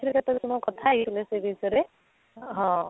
ଆଗରୁ ମୁଁ ଥରେ କଥା ହେଇଥିଲି ସେ ବିଷୟରେ ହଁ